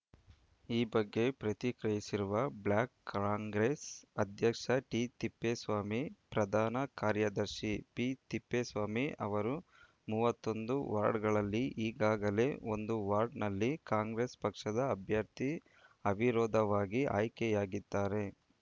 ಈ ಬಗ್ಗೆ ಪ್ರತಿಕ್ರಿಯಿಸಿರುವ ಬ್ಲಾಕ್‌ ಕಾಂಗ್ರೆಸ್‌ ಅಧ್ಯಕ್ಷ ಟಿತಿಪ್ಪೇಸ್ವಾಮಿ ಪ್ರಧಾನ ಕಾರ್ಯದರ್ಶಿ ಪಿತಿಪ್ಪೇಸ್ವಾಮಿ ಅವರು ಮೂವತ್ತೊಂದು ವಾರ್ಡ್‌ಗಳಲ್ಲಿ ಈಗಾಗಲೇ ಒಂದು ವಾರ್ಡ್‌ನಲ್ಲಿ ಕಾಂಗ್ರೆಸ್‌ ಪಕ್ಷದ ಅಭ್ಯರ್ಥಿ ಅವಿರೋಧವಾಗಿ ಆಯ್ಕೆಯಾಗಿದ್ದಾರೆ